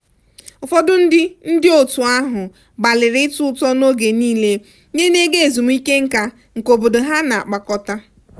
ụfọdụ ndị ndị otu ahụ gbalịrị itụ ụtụ n'oge niile nye n'ego ezumike nká nke obodo ha na-akpakọta.